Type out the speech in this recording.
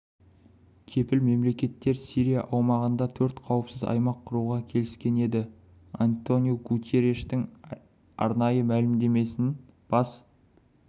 кепіл мемлекеттер сирия аумағында төрт қауіпсіз аймақ құруға келіскен еді антониу гутерриштің арнайы мәлімдемесін бас